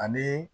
Ani